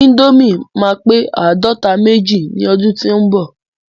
Índòmí ma pe àádọta méjì ni ọdún tí o n bọ.